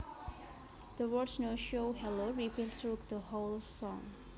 The words No show hello repeat through the whole song